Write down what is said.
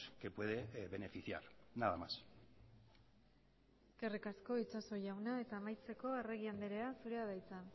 que puede beneficiar nada más eskerrik asko itxaso jauna eta amaitzeko arregi andrea zurea da hitza